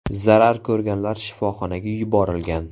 Zarar ko‘rganlar shifoxonaga yuborilgan.